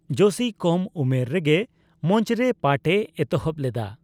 ᱡᱳᱥᱤ ᱠᱚᱢ ᱩᱢᱮᱨ ᱨᱮᱜᱮ ᱢᱚᱧᱪᱚ ᱨᱮ ᱯᱟᱴᱷ ᱮ ᱮᱛᱚᱦᱚᱵ ᱞᱮᱫᱟ ᱾